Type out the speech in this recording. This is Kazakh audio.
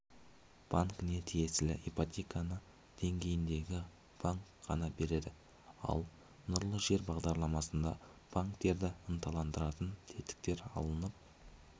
банкіне тиесілі ипотеканы деңгейдегі банк қана береді ал нұрлы жер бағдарламасында банктерді ынталандыратын тетіктер алынып